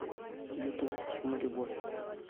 ютуб мы любовь